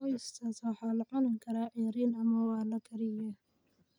Oysters waxaa la cuni karaa ceeriin ama waa la kariyey.